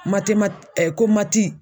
ko mati